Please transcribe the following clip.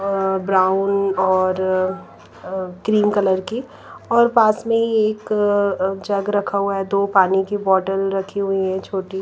अ brown और अ cream colour की और पास में ही एक अ जग रखा हुआ है दो पानी की बोतल रखी हुई है छोटी।